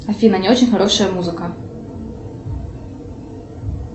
афина не очень хорошая музыка